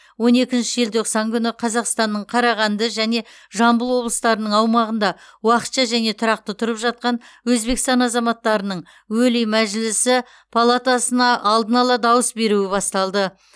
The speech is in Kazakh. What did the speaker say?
он екінші желтоқсан күні қазақстанның қарағанды және жамбыл облыстарының аумағында уақытша және тұрақты тұрып жатқан өзбекстан азаматтарының өлий мәжілісі палатасына алдын ала дауыс беруі басталды